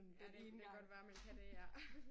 Ja det kan godt være man kan det ja